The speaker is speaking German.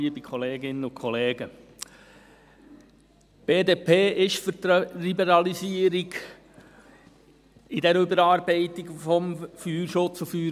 Die BDP ist für die Liberalisierung bei dieser Überarbeitung des FFG.